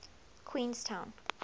queenstown